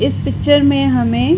इस पिक्चर में हमे --